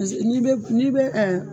Paseke n'i bɛ n'i bɛ